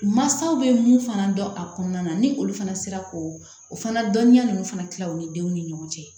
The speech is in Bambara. Mansaw bɛ mun fana dɔn a kɔnɔna na ni olu fana sera ko o fana dɔnniya ninnu fana tila u ni denw ni ɲɔgɔn cɛ